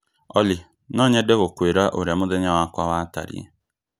Olly, no nyende gũkwĩra ũrĩa mũthenya wakwa watariĩ.